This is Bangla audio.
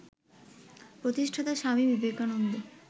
প্রতিষ্ঠাতা স্বামী বিবেকানন্দ